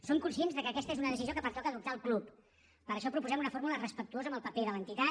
som conscients que aquesta és una decisió que pertoca adoptar al club per això proposem una fórmula respectuosa amb el paper de l’entitat